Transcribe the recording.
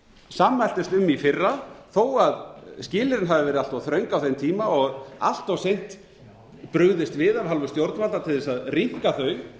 sammæltumst um í fyrra þó skilyrðin hafi verið allt þröng á þeim tíma og allt seint brugðist við að hálfu stjórnvalda til þess að rýmka þau